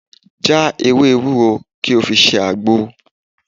Já ewé ewúro kí o fi ṣe àgbo